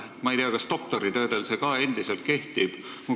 Ma ei tea, kas doktoritöödel see ka endiselt kehtib.